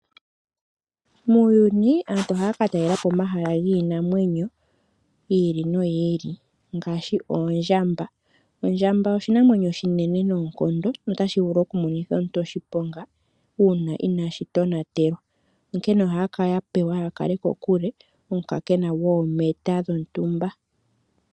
Muuyuni aantu ohaya ka talela po omahala giinamwenyo yi ili noyi ili ngaashi oondjamba. Ondjamba oshinamwemyo oshinene noonkondo notashi vulu oku monitha omuntu oshiponga uuna inaashi tonatelwa, onkene ohaya kala ya pewa ya kale kokupe omukaakena goometa dhontumba.